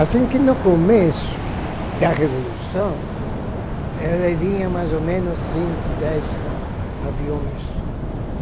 Assim que no começo da Revolução, ele vinha mais ou menos cinco, dez aviões.